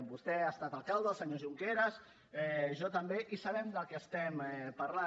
vostè ha estat alcalde el senyor junqueras jo també i sabem del que estem parlant